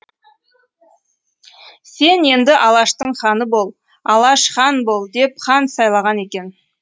сен енді алаштың ханы бол алаш хан бол деп хан сайлаған екен